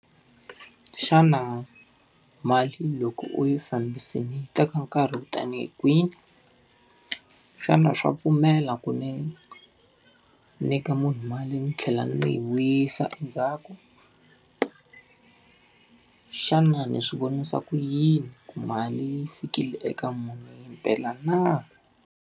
Xana mali loko u yi fambisile yi teka nkarhi wo tanihi kwihi? Xana swa pfumela ku ni nyika munhu mali ni tlhela ni yi vuyisa endzhaku? Xana ni swi vonisa ku yini ku mali yi fikile eka munhu himpela na?